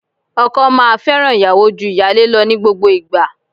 Ọkọ máa fẹ́ràn ìyàwó ju ìyálé lọ ní gbogbo ìgbà.